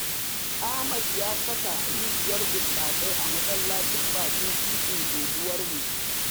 Ahamad ya saka rijiyar burtsatsai a masallacin bakin titin unguwarmu.